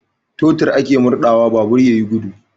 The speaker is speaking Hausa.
Totur ake murɗawa babur ya yi gudu.